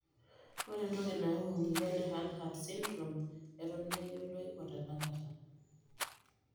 Ore entoki nayau emoyian e Hanhart syndrome eton meyioloi otenakata.